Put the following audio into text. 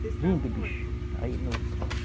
Lindo, bicho. Aí no